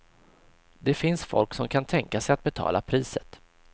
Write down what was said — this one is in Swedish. Det finns folk som kan tänka sig att betala priset.